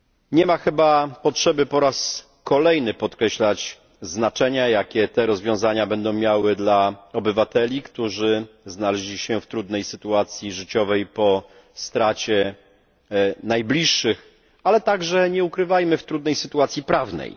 Nie ma chyba potrzeby po raz kolejny podkreślać znaczenia, jakie rozwiązania te będą miały dla obywateli, którzy znaleźli się w trudnej sytuacji życiowej po stracie najbliższych, ale także, nie ukrywajmy tego, w trudnej sytuacji prawnej.